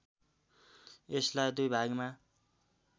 यसलाई दुई भागमा